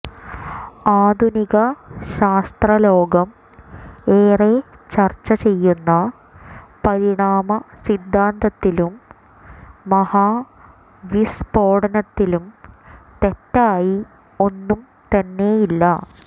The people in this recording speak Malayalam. ആധുനിക ശാസ്ത്രലോകം ഏറെ ചര്ച്ച ചെയ്യുന്ന പരിണാമ സിദ്ധാന്തത്തിലും മഹാ വിസ്ഫോടനത്തിലും തെറ്റായി ഒന്നും തന്നെയില്ല